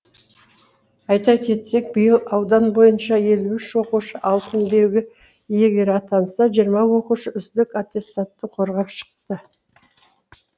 айта кетсек биыл аудан бойынша елу үш оқушы алтын белгі иегері атанса жиырма оқушы үздік аттестатты қорғап шықты